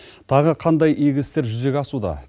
тағы қандай игі істер жүзеге асуда